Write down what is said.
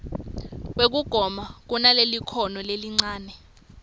wekugoma kunalelikhono lelincane